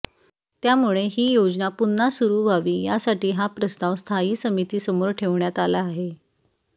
त्यामुळे हि योजना पुन्हा सुरु व्हावी यासाठी हा प्रस्ताव स्थयी समिती समोर ठेवण्यात आला आहे